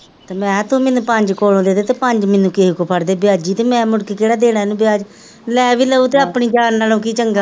ਤੇ ਮੈਕੇਆ ਤੂ ਮੈਂਨੂੰ ਪੰਜ ਕੋਲੋਂ ਦੇਦੇ ਤੇ ਪੰਜ ਮੈਂਨੂੰ ਕਿਸੇ ਕੋਲੋਂ ਫੜ ਦੇ ਬਿਆਜੀ ਤੇ ਮੈ ਕੇੜਾ ਮੂਡ ਕੇ ਦੇਣਾ ਏਨੁ ਬਿਆਜ ਲੈ ਵੀ ਲਉ ਤਾਂ ਆਪਣੀ ਜਾਂ ਨਾਲੋਂ ਕੀ ਚੰਗਾ,